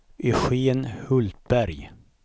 Eugen Hultberg